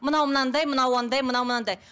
мынау мынандай мынау андай мынау мынандай